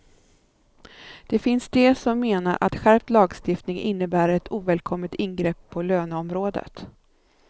Det finns de som menar att skärpt lagstiftning innebär ett ovälkommet ingrepp på löneområdet.